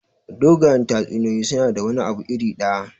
Dogayen tatsuniyoyi suna da wani abu iri ɗaya.